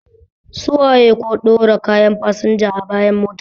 Su waye ko ɓɗora kayan fasinja a bayan mota?